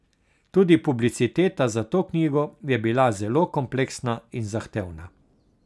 Tudi publiciteta za to knjigo je bila zelo kompleksna in zahtevna.